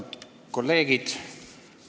Austatud kolleegid!